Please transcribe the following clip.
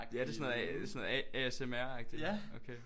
Ja det er sådan noget A sådan noget A A S M R agtig okay